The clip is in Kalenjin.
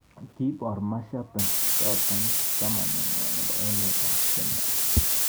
Kiipor mashabii? chotok chamenhwa nepo emeet ap. Kenya